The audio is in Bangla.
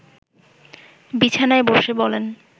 বিছানায় বসে বলেন